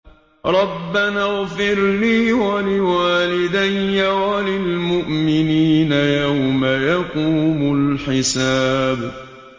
رَبَّنَا اغْفِرْ لِي وَلِوَالِدَيَّ وَلِلْمُؤْمِنِينَ يَوْمَ يَقُومُ الْحِسَابُ